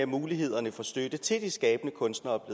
mulighederne for støtte til de skabende kunstnere